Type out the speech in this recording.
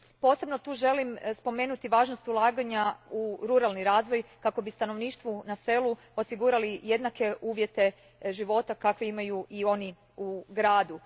Posebno tu želim spomenuti važnost ulaganja u ruralni razvoj kako bismo stanovništvu u selu osigurali jednake uvjete života kakve imaju i oni u gradu.